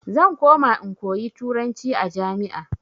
Zan koma in koyi turanci a jami'a.